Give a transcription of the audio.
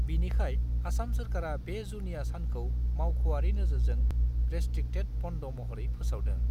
बिनिखाय आसाम सोरखारा बे जुनिया सानखौ मावख'आरि नोजोरजों रेस्ट्रिक्टेड बन्द महरै फोसावदों।